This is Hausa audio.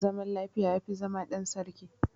Zaman lafiya yafi zama dan sarki